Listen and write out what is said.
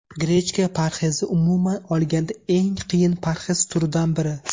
Grechka parhezi Umuman olganda, eng qiyin parhez turidan biri.